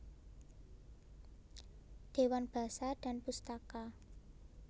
Dewan Basa dan Pustaka